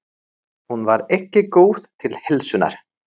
Hún var ekki góð til heilsunnar.